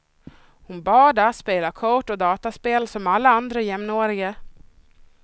Hon badar, spelar kort och dataspel som alla andra jämnåriga.